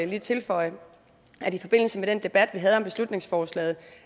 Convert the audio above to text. lige tilføje i forbindelse med den debat vi havde om beslutningsforslaget